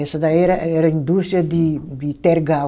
Essa daí era era indústria de de tergal.